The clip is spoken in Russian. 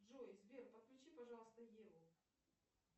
джой сбер подключи пожалуйста еву